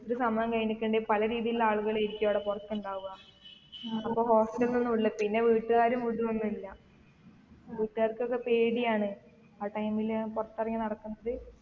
ഒരു സമയം കഴിഞ്ഞിക്കുണ്ടേൽ പല രീതിയിലുള്ള ആളുകളായിരിക്കും അവിടെ പൊറത്ത് ഇണ്ടാവ്അ അപ്പൊ hostel ലേക്കൊന്നു വിടില്ല പിന്നെ വീട്ടുകാരും വിടു ഒന്നുല്ല വീട്ടുകാർക്കൊക്കെ പേടിയാണ് ആ time ൽ പുറത്തിറങ്ങി നടക്കുന്നത്